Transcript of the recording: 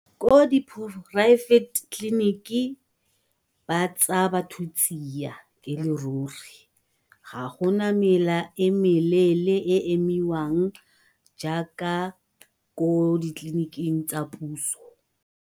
Ko di tleliniki ba tsaya batho tsia e le ruri, ga gona mela e meleele e e emiwang jaaka ko ditleliniking tsa puso.